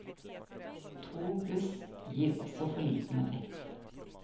To bluss gir også for liten effekt.